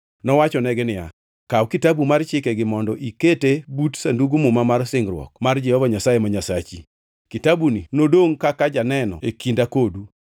Nowachonegi niya, “Kaw Kitabu mar Chikegi mondo ikete but Sandug Muma mar singruok mar Jehova Nyasaye ma Nyasachi. Kitabuni nodongʼ kaka janeno e kinda kodu.